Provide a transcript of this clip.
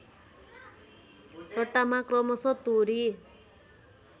सट्टामा क्रमशः तोरी